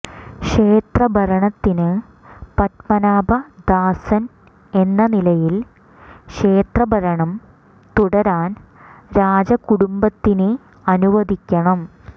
ക്ഷേത്ര ഭരണത്തിന് പദ്മനാഭ ദാസൻ എന്ന നിലയിൽ ക്ഷേത്ര ഭരണം തുടരാൻ രാജ കുടുംബത്തിനെ അനുവദിക്കണം